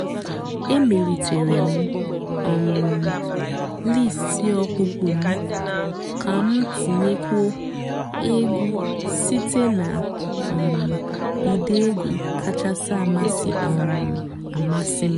èmèlìtèré m um lístì ọ̀kpụ́kpọ́ m kà m tìnyékwúó ègwú sìté nà um ụ́dị́ ègwú kàchàsị́ um àmásị́ m.